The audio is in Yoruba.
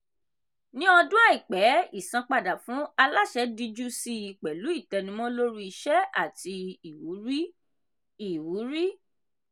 ní ọdún àìpẹ́ ìsanpadà fún aláṣẹ díjú síi pẹ̀lú ìtẹnumọ́ lórí iṣẹ́ àti ìwúrí. ìwúrí.